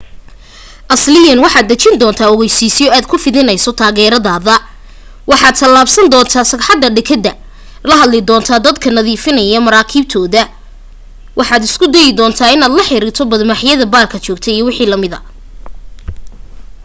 asliyan waxaad dhejin doontaa ogaysiisyo aad ku fidinayso taageeradaada waxaad tallaabsan doonta sagxadda dekedda la hadli doontaa dadka nadiifinaya maraakiibtooda waxaad isku dayi doontaa inaad la xiriirto bad-maaxyada baarka jooga iwm